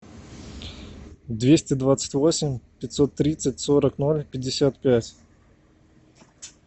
двести двадцать восемь пятьсот тридцать сорок ноль пятьдесят пять